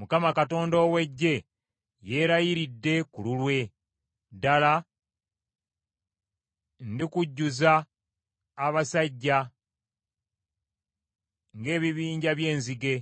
Mukama Katonda ow’Eggye yeerayiridde ku lulwe; ddala ndikujjuza abasajja, ng’ebibinja by’enzige,